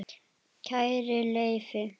Kæri Leifi